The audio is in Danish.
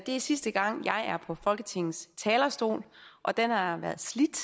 er sidste gang jeg er på folketingets talerstol og den har været slidt